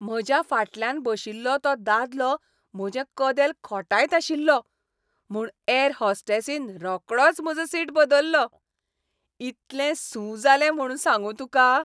म्हज्या फाटल्यान बशिल्लो तो दादलो म्हजें कदेल खोंटायत आशिल्लो म्हूण ऍर होस्टेसीन रोकडोच म्हाजो सीट बदल्लो. इतलें सू जालें म्हूण सांगू तुका.